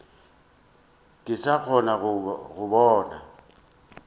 ke sa kgone go bona